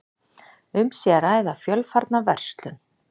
Um sé að ræða fjölfarna verslun